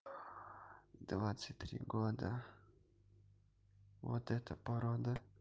двадцать три года вот это порода